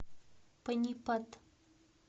панипат